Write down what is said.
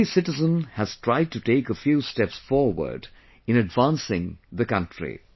Every citizen has tried to take a few steps forward in advancing the country